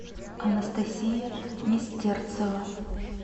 анастасия нестерцева